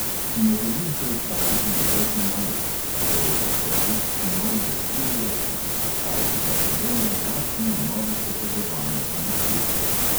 "Ne želim se ustaviti v polfinalu," sporoča strateg sinov volkulje, ki so po skalpu barcelone lačni novih dokazovanj in uspehov.